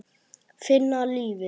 Finna lífið.